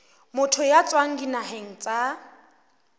motho ya tswang dinaheng tsa